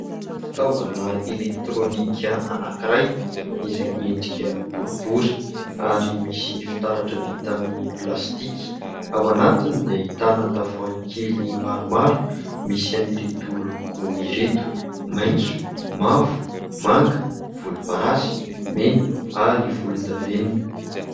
Fitaovana elektronika anankiray izay miendrika boribory ary misy fitaratra vita amin'ny plastika. Ao anatiny dia ahitana tavoahangy kely maromaro misy an'ireto loko ireto : maitso, mavo, manga, volomparasy, mena ary volondavenona.